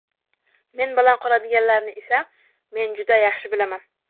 Men bilan qoladiganlarni esa men juda yaxshi bilaman.